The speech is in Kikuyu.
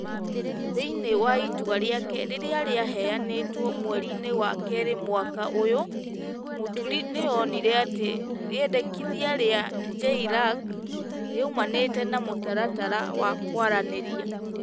Thĩinĩ wa itua rĩake rĩrĩa rĩaheanĩtwo mweriinĩ wa kerĩ mwaka ũyũ, Mũturi nĩ onire atĩ rĩendekithia rĩa JLAC rĩaumanĩtĩ na mũtaratara wa kwaranĩria ,